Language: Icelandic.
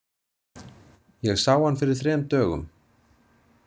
Ég sá hann fyrir þrem dögum.